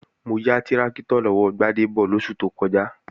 Mo ya tráktọ̀ lọ́wọ́ Gbádébọ̀ lóṣù tó kọjá